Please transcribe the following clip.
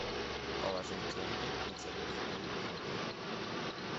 положить деньги на телефон друга